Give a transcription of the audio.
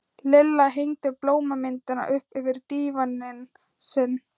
Lilla hengdi blómamyndina upp yfir dívaninn sinn.